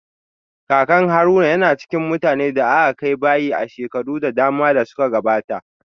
Kakan Haruna yana cikin mutanen da aka kai bayi a shekaru da dama da suka gabata